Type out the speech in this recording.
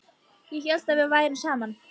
Ég hélt að við værum saman!